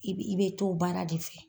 I bi i be t'o baara de fɛ